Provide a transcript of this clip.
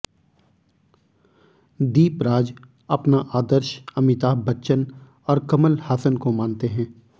दीपराज अपना आदर्श अमिताभ बच्चन और कमल हासन को मानते हैं